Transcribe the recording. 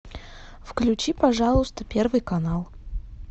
включи пожалуйста первый канал